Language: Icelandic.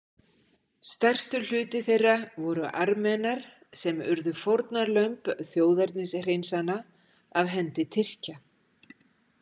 Stærstur hluti þeirra voru Armenar sem urðu fórnarlömb þjóðernishreinsana af hendi Tyrkja.